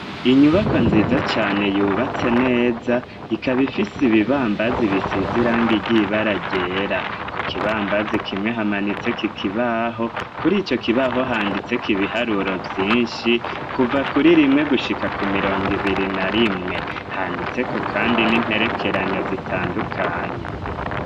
Inyubakwa nziza cane yubatse neza ikaba ifise ibibambazi bisize irangi ryibara ryera, ku kibambazi kimwe hamanitseko ikibaho kurico kibaho handitseko ibiharuro vyinshi kuva kuri rimwe gushika ku mirongo ibiri na rimwe, handitseko kandi n'imperekeranya zitandukanye.